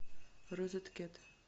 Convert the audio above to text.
розеткед